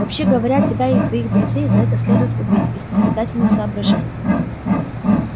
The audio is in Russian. вообще говоря тебя и твоих друзей за это следует убить из воспитательных соображений